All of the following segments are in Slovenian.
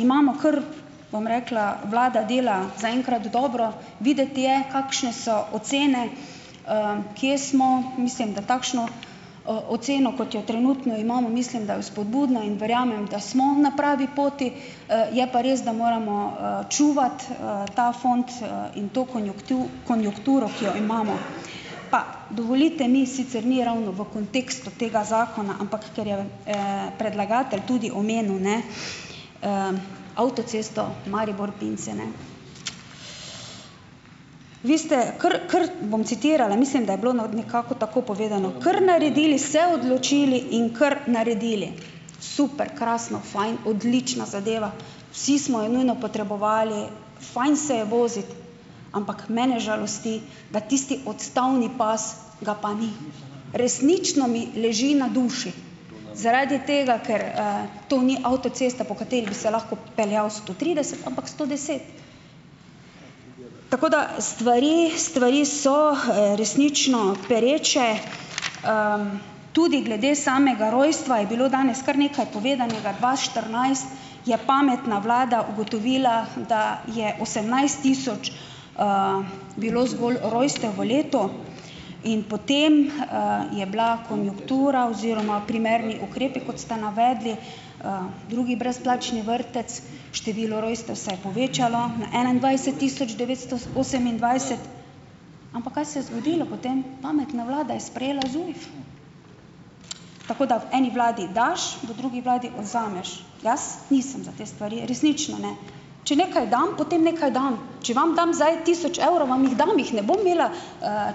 imamo kar, bom rekla, vlada dela zaenkrat dobro, videti je, kakšne so ocene, kje smo. Mislim, da takšno oceno, kot jo trenutno imamo, mislim, da je vzpodbudna in verjamem, da smo na pravi poti. Je pa res, da moramo, čuvati, ta fond, in to konjunkturo, ki jo imamo. Pa dovolite mi, sicer ni ravno v kontekstu tega zakona, ampak ker je v, predlagatelj tudi omenil, ne, avtocesto Maribor-Pince, ne. Vi ste kar, kar, bom citirala, mislim, da je bilo na, nekako tako povedano: "Kar naredili, se odločili in kar naredili." Super, krasno, fajn, odlična zadeva. Vsi smo jo nujno potrebovali, fajn se je voziti, ampak mene žalosti, da tisti odstavni pas, ga pa ni. Resnično mi leži na duši zaradi tega, ker, to ni avtocesta po kateri bi se lahko peljal sto trideset, ampak sto deset. Tako, da stvari, stvari so, resnično pereče, tudi glede samega rojstva je bilo danes kar nekaj povedanega. Dva štirinajst je pametna vlada ugotovila, da je osemnajst tisoč, bilo zgolj rojstev v letu in potem, je bila konjunktura oziroma primerni ukrepi, kot ste navedli. drugi brezplačni vrtec, število rojstev se je povečalo na enaindvajset tisoč devetsto s osemindvajset. Ampak kaj se je zgodilo po tem? Pametna vlada je sprejela ZUJF. Tako da v eni vladi daš, v drugi vladi vzameš. Jaz nisem za te stari. Resnično ne. Če nekaj dam, potem nekaj dam. Če vam dam zdaj tisoč evrov, vam jih dam, jih ne bom imela,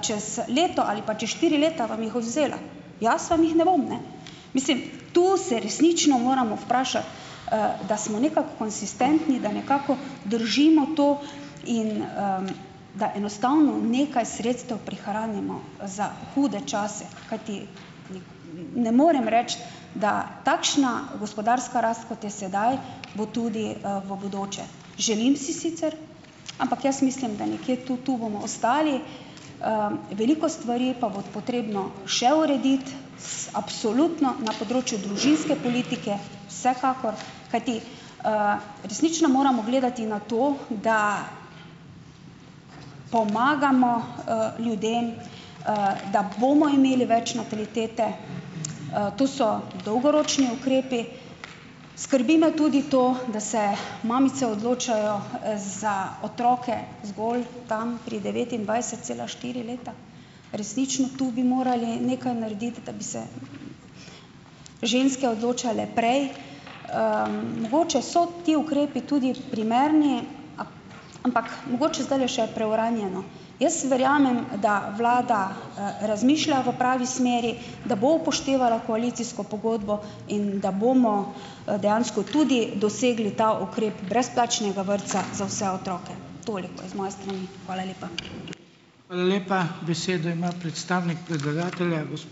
čez leto, ali pa hočeš štiri leta, vam jih odvzela. Jaz vam jih ne bom, ne. Mislim, tu se resnično moramo vprašati, da smo nekako konsistentni, da nekako držimo to in, da enostavno nekaj sredstev prihranimo, za hude čase, kajti ni ne morem reči, da takšna gospodarska rast, kot je sedaj, bo tudi, v bodoče. Želim si sicer, ampak jaz mislim, da nekje tu, tu bomo ostali. Veliko stvari pa bo potrebno še urediti, s, absolutno na področju družinske politike vsekakor, kajti, resnično moramo gledati na to, da pomagamo, ljudem, da bomo imeli več natalitete. To so dolgoročni ukrepi. Skrbi me tudi to, da se mamice odločajo, za otroke zgolj tam pri devetindvajset cela štiri leta. Resnično tu bi morali nekaj narediti, da bi se ženske odločale prej. Mogoče so ti ukrepi tudi primerni, a ampak mogoče zdajle še preuranjeno. Jaz verjamem, da vlada, razmišlja v pravi smeri, da bo upoštevala koalicijsko pogodbo in da bomo, dejansko tudi dosegli ta ukrep brezplačnega vrtca za vse otroke. Toliko z moje strani. Hvala lepa.